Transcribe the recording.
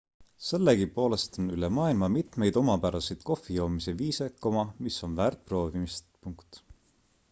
sellegipoolest on üle maailma mitmeid omapäraseid kohvijoomise viise mis on väärt proovimist